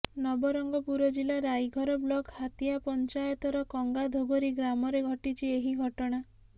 ନବରଙ୍ଗପୁର ଜିଲ୍ଲା ରାଇଘର ବ୍ଲକ ହାତିଗାଁ ପଂଚାୟତ ର କଙ୍ଗାଧୋଗରି ଗ୍ରାମରେ ଘଟିଛି ଏହି ଘଟଣା